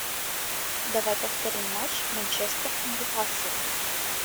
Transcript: давай повторим матч манчестер ньюкасл